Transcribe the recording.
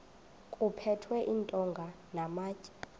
kuphethwe iintonga namatye